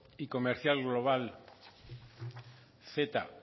y comercial global ceta